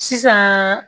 Sisan